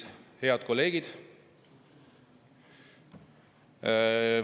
Head kolleegid!